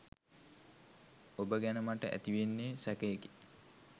ඔබ ගැන මට ඇතිවෙන්නේ සැකයකි.